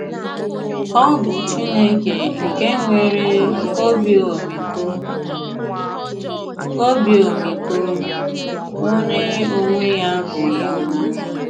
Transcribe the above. Ọ bụ Chineke nke nwere “ obi ọmịiko, obi ọmịiko, ” onye ya onwe ya bụ ịhụnanya.